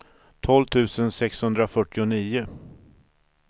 tolv tusen sexhundrafyrtionio